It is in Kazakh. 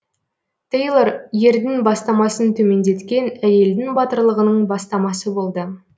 тейлор ердің бастамасын төмендеткен әйелдің батырлығының бастамасы болды